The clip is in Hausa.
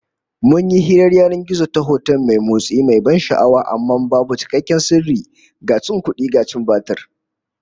Mun yi hirar yanan gizo ta hoton bidiyo mai motsi, mai ban sha'awa, amma babu cikakken sirri, ga cin kudi da cin batir